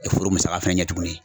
E foro musaka fɛnɛ ɲɛ tuguni.